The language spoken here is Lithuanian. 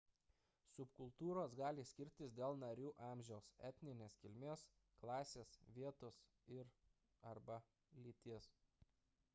subkultūros gali skirtis dėl narių amžiaus etninės kilmės klasės vietos ir arba lyties